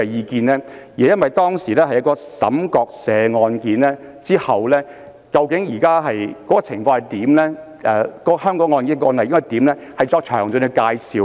其實，這是因為當時在出現岑國社案後，需要就最新情況及相關案例的處理作出詳盡的介紹。